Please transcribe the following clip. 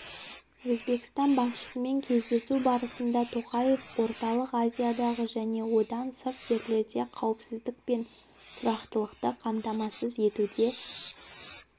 өзбекстан басшысымен кездесу барысында тоқаев орталық азиядағы және одан сырт жерлерде қауіпсіздік пен тұрақтылықты қамтамасыз етуде